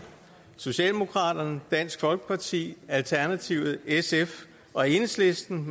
socialdemokraterne dansk folkeparti alternativet sf og enhedslisten